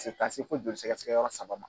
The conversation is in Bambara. ko joli sɛgɛsɛgɛ yɔrɔ saba ma.